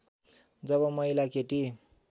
जब महिला केटी